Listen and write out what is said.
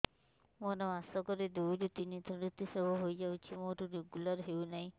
ମୋର ମାସ କ ରେ ଦୁଇ ରୁ ତିନି ଥର ଋତୁଶ୍ରାବ ହେଇଯାଉଛି ମୋର ରେଗୁଲାର ହେଉନାହିଁ